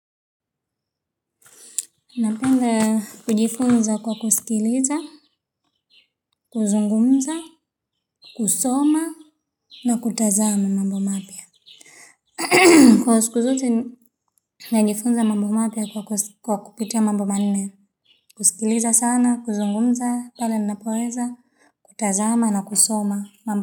Napenda kujifunza kwa kusikiliza, kuzungumza, kusoma na kutazama mambo mapia. Kwa siku zote najifunza mambo mapia kwa kupitia mambo manne, kusikiliza sana, kuzungumza, pale napoweza, kutazama na kusoma mambo mapya.